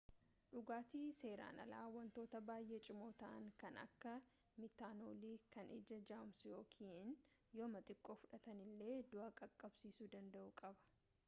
dhugaatin seeran alaa wantoota baayee cimoo ta'aan kan akka miitanoolii kan ija jaamsuu ykn yooma xiqqoo fudhatanilee du'a qaqqabsiisuu danda'u qaba